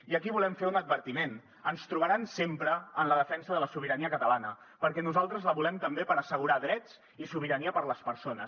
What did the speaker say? i aquí volem fer un advertiment ens trobaran sempre en la defensa de la sobirania catalana perquè nosaltres la volem també per assegurar drets i sobirania per les persones